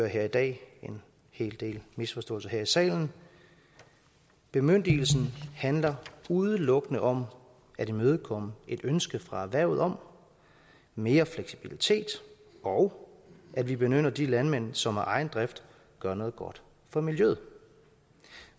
høre i dag en hel del misforståelser her i salen bemyndigelsen handler udelukkende om at imødekomme et ønske fra erhvervet om mere fleksibilitet og at vi belønner de landmænd som af egen drift gør noget godt for miljøet